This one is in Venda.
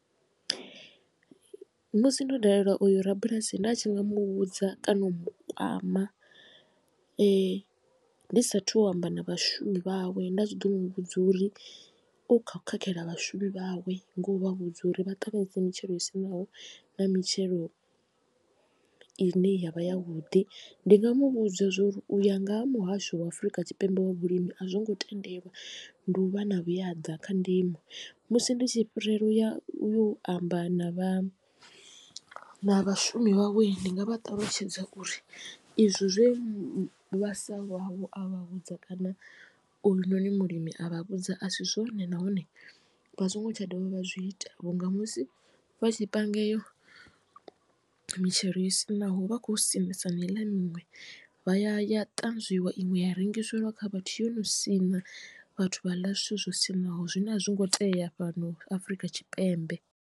Musi ndo dalela uyu rabulasi nda tshi nga mu vhudza kana u mu kwama ndi sa athu u amba na vhashumi vhawe nda tshi ḓo mu vhudza uri u kho u khakhela vhashumi vhawe ngo u vha vhudza uri vha ṱanganise mitshelo yo siṋaho na mitshelo i ne ya vha ya vhuḓi. Ndi nga mu vhudza zwori u ya nga ha muhasho wa afrika tshipembe wa vhulimi a zwo ngo tendelwa ndi u vha na vhuyaḓa kha ndimo. Musi ndi tshi fhirela uya u amba na vha na vhashumi vhawe ndi nga vha ṱalutshedza uri izwo zwe vhasa vhawe a vha vhudza kana uyu noni mulimi a vha vhudza a si zwone nahone vha songo tsha dovha vha zwi ita vhunga musi vha tshi panga iyo mitshelo yo siṋaho vha kho siṋisa na miṅwe vha ya ya ṱanzwiwa iṅwe ya rengiseliwa kha vhathu yo no sina vhathu vha ḽa zwithu zwo siṋaho zwine a zwi ngo tea fhano afrika tshipembe.